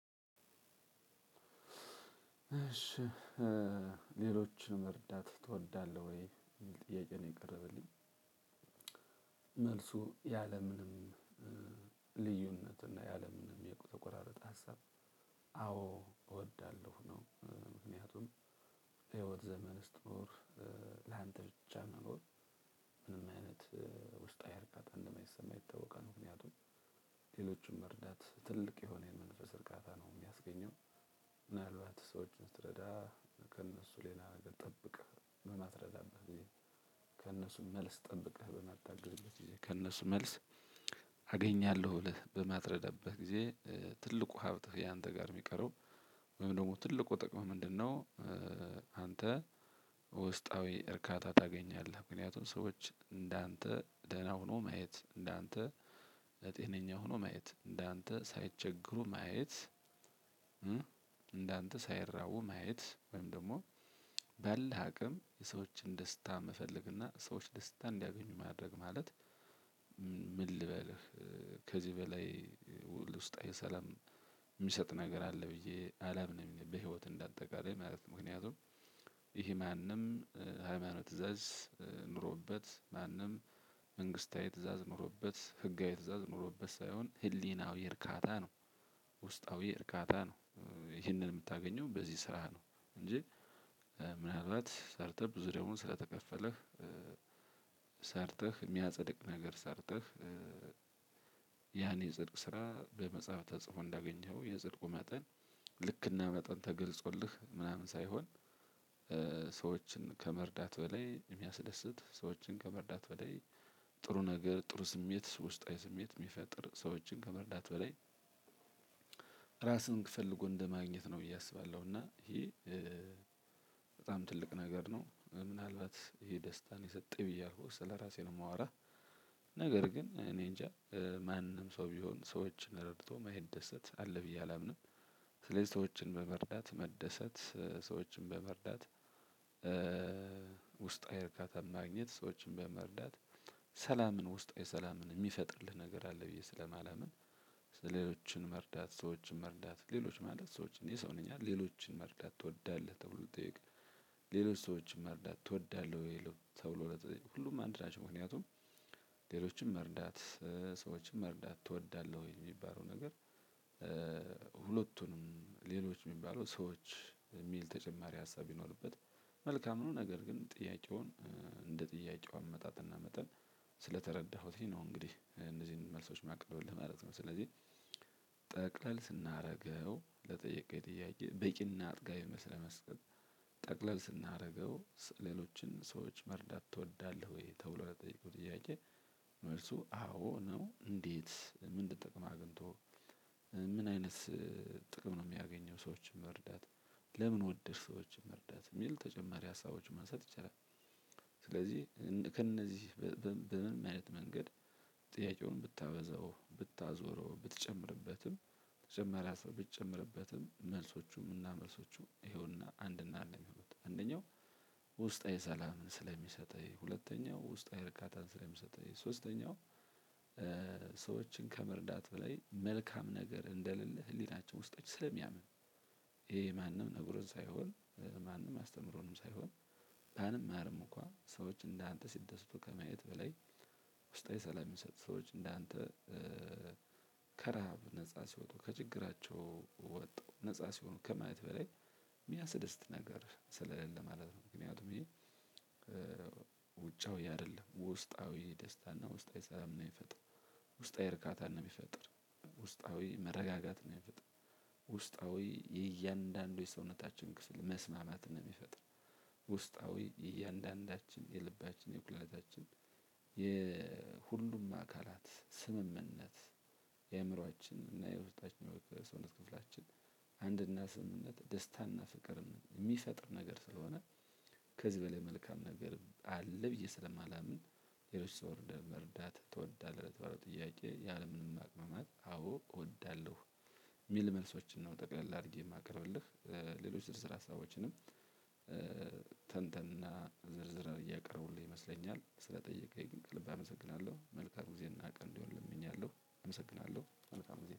እሺ ሌሎችንም መርዳት ትወዳለህ ወይ የሚል ጥያቄ ነው የቀረበልኝ። መልሱ ያለምንም ልዩነት እና ያለምንም የተቆራረጠ ሀሳብ አዎ እወዳለሁ። ምክንያቱም ዘመን ስትኖር ላንተ ብቻ መኖር ምንም አይነት ውስጣዊ እርካታ እንደማይሰማህ ይታወቃል። ምክንያቱም ሌሎችም መርዳት ትልቅ የሆነ የመንፈስ እርካታ ነው የሚያስገኘው። ምናልባት ሰዎችን ስትረዳ ከእነሱ ሌላ ነገር ጠብቀህ ምን እማትረዳበትም ወይ ከእነሱ መልስ ጠብቀህ በመጣህ ጊዜ ከነሱ መልስ አገኛለሁ ብለህ በማትረዳበት ጊዜ ትልቁ ሀብትህ አንተ ጋ ሚቀረው ወይም ደግሞ ትልቁ ጥቀምህ ምንድነው? አንተ ውስጣዊ እርካታ ታገኛለህ ምክንያቱም ሰዎች እንዳንተ ደህና ሆኖ ማየት እንዳንተ ለጤነኛ ሆኖ ማየት እንዳንተ ሳይቸገሩ ማየት። ሳይራቡ ማየት ወይም ደግሞ ባለህ አቅም የሰዎችን ደስታ መፈለግና እና ሰዎች ደስታ እንዲያገኙ ማድረግ ማለት ምን ልበልህ? ከዚህ በላይ ውል ውስጥ የሰለም የሚሰጥ ነገር አለ ብዬ አላምንም። በህይወት እንደ አጠቃላይ ማለት ነው። ምክንያቱም ይሄ ማንም ሃይማኖት ትእዛዝ ኖሮበት ማንም መንግስታዊ ትእዛዝ ኖሮበት ህጋዊ ትእዛዝ ኖሮበት ሳይሆን ህሊናዊ እርካታ ነው። ውስጣዊ እርካታ ነው ይህንን የምታገኘው በዚህ ስራህ ነው። እንጂ ምናልባት ሰርተህ ብዙ ደሞዝ ስለተከፈለህ ሰርተህ የሚያጸድቅ ነገር ሰርተህ ያን ጽድቅ ስራ በመጽሐፍ ተጽፎ እንዳገኘኸው የጽድቁ መጠን ልክና መጠን ተገልጾልህ ምናምን ሳይሆን። ሰዎችን ከመርዳት በላይ የሚያስደስት ሰዎችን ከመርዳት በላይ ጥሩ ነገር ጥሩ ስሜት ውስጣዊ ስሜት የሚፈጥር ሰዎችን ከመረዳት በላይ እራስን ፈልጎ እንደማግኘት ነው ብዬ አስባለሁ። እና በጣም ትልቅ ነገር ነው። ምናልባት ይሄ ደስታ የሰጠው ስለራሴ ነው ማወራህ። ነገር ግን እኔ እንጃ ማንም ሰው ቢሆን ሰዎችን ረድቶ ማይደሰት አለ ብዬ አላምንም። ስለዚህ ሰዎችን በመርዳት መደሰት ሰዎችን በመርዳት ውስጣዊ እርካታ ማግኘት ሰዎችን በመርዳት ሰላምን ውስጣዊ ሰላምን የሚፈጥርልህ ነገር አለ ብዬ ስለማላምን። ሌሎችን መርዳት ሰዎችን መርዳት ሌሎች ማለት ሰዎችን የሰው ልጅ አይደል ሌሎችን መርዳት ትወዳለህ ተብሎ ስጠየቅ። ሌሎች ሰዎችን መርዳት ትወዳለህ ወይ ተብሎ ሲጠየቅ ሁሉም አንድ ናቸው ምክንያቱም ሌሎችን መርዳት ሰዎችን መርዳት ትወዳለህ ወይ ለሚባለው ነገር። ሁለቱንም ሌሎች የሚባለው ሰዎች ሚል ተጨማሪ ሀሳብ ቢኖርበት መልካም ነው። ነገር ግን ጥያቄውን እንደ ጥያቄው አመጣጥ እና መጠን ስለተረዳሁትኝ ነው እንግዲህ እነዚህን መልሶች ማቀርብልህ ማለት ነው። ስለዚህ ጠቅለል ስናደርገው ለጠየቀኝ ጥያቄ በቂና አጥጋቢ መልስ ለመስጠት። ጠቅለል ስናደርገው ሌሎችን ሰዎች መርዳት ትወዳለህ ወይ ተብሎ ለጠየቁት ጥያቄ። መልሱ አዎ ነው። እንዴት ምን ልትጠቅመው አግኝቶ ምን አይነት ጥቅም ነው የሚያገኘው ሰዎችን መርዳት። ለምን ወደድህ ሰዎችን መርዳት የሚል ተጨማሪ ሀሳቦችን መንሳት ይቻላል። ስለዚህ ከእነዚህ በምንም አይነት መንገድ ጥያቄውን ብታበዛው ብታዞረው ብትጨምርበትም ተጨማሪ ብትጨምርበትም መልሶቹም እና መልሶቹ ይኸውና አንድና አንድ አንደኛው። ውስጣዊ ሰላምን ስለሚሰጠኝ ሁለተኛው ውስጥ አይርቃታን ስለሚሰጠኝ ሶስተኛው ሰዎችን ከመርዳት በላይ መልካም ነገር እንደሌለ ህሊናችን ውስጣችን ስለሚያምን። ይሄ ማንም ነግሮን ሳይሆን ማንም አስተምሮንም ሳይሆን ባንማርም እንኳን ሰዎች እንደ አንተ ሲደስቱ ከማየት በላይ ውስጣዊ ሰላም የሚሰጡ ሰዎች እንዳንተ ከረሃብ ነፃ ሲወጡ ከችግራቸው ወጥተው ነፃ ሲሆኑ ከማየት በላይ የሚያስደስት ነገር ስለሌለ ማለት ነው። ምክንያቱም ይሄ ውጫዊ አይደለም ውስጣዊ ደስታና ውስጣዊ ሰላም ነው የሚፈጥር። ውስጣዊ እርካታን ነው የሚፈጥር ውስጣዊ መረጋጋት ነው። ሚፈጥረው ውስጣዊ የእያንዳንዱ የሰውነታችን ክፍል መስማማት ነው የሚፈጥር ውስጣዊ እያንዳንዳችን የልባችን የኩላሊታችን የሁሉም አካላት ስምምነት የአእምሮአችን እና የውስጣችን መውጣት ሰውነት ክፍላችን አንድ እና ስምምነት ደስታና ፍቅርን የሚፈጥር ነገር ስለሆነ። ከዚህ በላይ መልካም ነገር አለ ብዬ ስለማላምን። ሌሎች ሰው ወርደህ መርዳት ትወዳለህ ለተባለው ጥያቄ ያለምንም ማቅማማት አዎ እወዳለሁ። የሚል መልሶችን ነው ጠቅለል አድርጌ ማቀርብልህ። ሌሎች ዝርዝር ሀሳቦችንም ተንተንና ዘርዘር አድርጌ ያቀረብኩልህ ይመስለኛል። ስለጠየቀኝ ከልብ አመሰግናለሁ መልካም ጊዜ እና ቀን እንዲሆንልህ እመኛለሁ። አመሰግናለሁ መልካም ጊዜ